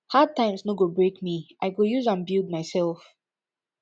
hard times no go break me i go use am build mysef